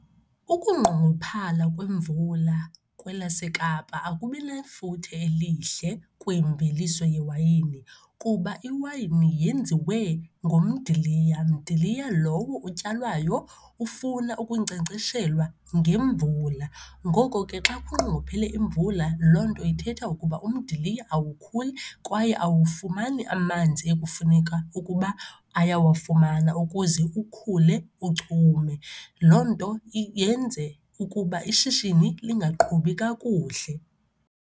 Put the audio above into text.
Ukungqongophala kwemvula kwelaseKapa akubi nefuthe elihle kwimveliso yewayini kuba iwayini yenziwe ngomdiliya, mdiliya lowo utyalwayo, ufuna ukunkcenkceshelwa ngemvula. Ngoko ke, xa kungqongophele imvula loo nto ithetha ukuba umdiliya awukhuli kwaye awufumani amanzi ekufuneka ukuba ayawafumana ukuze ukhule uchume. Loo nto yenze ukuba ishishini lingaqhubi kakuhle.